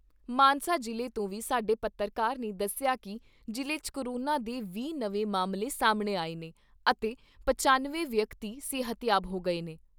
ਮਾਨਸਾ ਜ਼ਿਲ੍ਹੇ ਤੋਂ ਵੀ ਸਾਡੇ ਪੱਤਰਕਾਰ ਨੇ ਦੱਸਿਆ ਕਿ ਜ਼ਿਲ੍ਹੇ 'ਚ ਕੋਰੋਨਾ ਦੇ ਵੀਹ ਨਵੇਂ ਮਾਮਲੇ ਸਾਹਮਣੇ ਆਏ ਨੇ ਅਤੇ ਪਚਨਵੇਂ ਵਿਅਕਤੀ ਸਿਹਤਯਾਬ ਹੋ ਗਏ ਨੇ।